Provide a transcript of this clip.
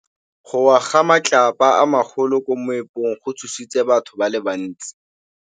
Go wa ga matlapa a magolo ko moepong go tshositse batho ba le bantsi.